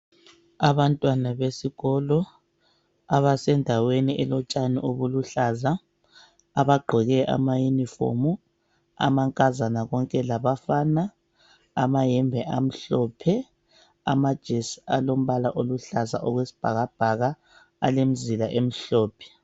Abantwana besikolo ,abasendaweni elotshani obuluhlaza .Abagqoke ama yinifomu, amankazana konke labafana .Amahembe amhlophe, amajesi alombala oluhlaza okwesibhakabhaka ,alemizila emhlophe.